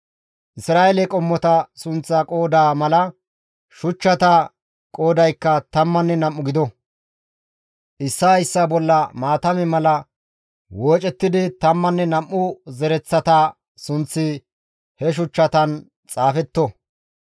Isra7eele qommota sunththaa qooda mala, shuchchata qoodaykka tammanne nam7u gido; issaa issaa bolla maatame mala woocettidi tammanne nam7u zereththata sunththi he shuchchatan xaafetto.